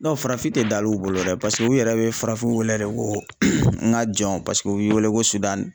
farafin tɛ da l'u bolo dɛ paseke u yɛrɛ be farafinw wele de ko n ka jɔn paseke u b'i wele ko .